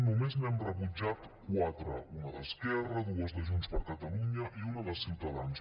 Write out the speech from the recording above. només n’hem rebutjat quatre una d’esquerra dues de junts per catalunya i una de ciutadans